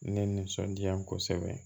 Ne nisɔndiya kosɛbɛ